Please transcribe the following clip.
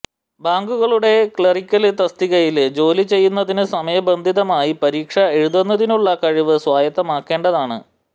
ബാങ്കുകളുടെ ക്ലറിക്കല് തസ്തികയില് ജോലി ചെയ്യുന്നതിന് സമയബന്ധിതമായി പരീക്ഷ എഴുതുന്നതിനുള്ള കഴിവ് സ്വായത്തമാക്കേണ്ടതാണ്